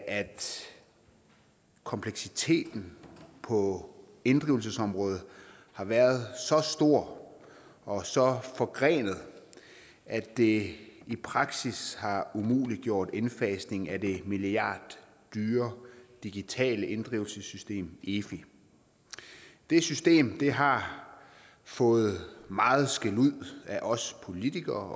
kompleksiteten på inddrivelsesområdet har været så stor og så forgrenet at det i praksis har umuliggjort indfasningen af det milliarddyre digitale inddrivelsessystem efi det system har fået meget skældud af os politikere